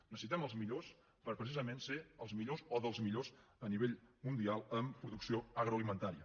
necessitem els millors per precisament ser els millors o dels millors a nivell mundial en producció agroalimentària